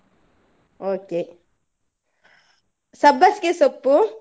Okay ಸಬ್ಬಾಸ್ಗೆ ಸೊಪ್ಪು